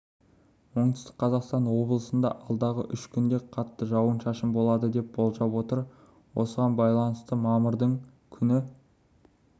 оңтүстік қазақстан облысында алдағы үш күнде қатты жауын-шашын болады деп болжап отыр осыған байланысты мамырдың күні